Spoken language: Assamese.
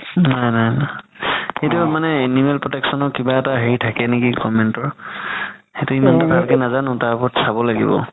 নাই নাই সেইটোৱে মানে animal protection ৰ কিবা এটা হেৰি থাকে নেকি government ৰ সেইটো ইমান ভালকে নাজানো তাৰ ওপৰত ভালকে চাব লাগিব